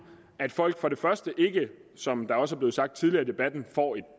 at folk som det også er blevet sagt tidligere i debatten får et